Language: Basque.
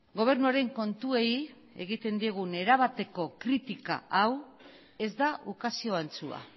gobernuaren kontuei egiten diegun erabateko kritika hau ez da ukazio antzua